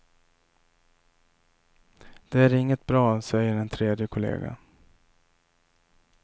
De är inget bra, säger en tredje kollega.